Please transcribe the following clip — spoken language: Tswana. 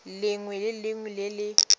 lengwe le lengwe le le